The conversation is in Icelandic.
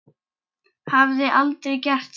Hafði aldrei gert það.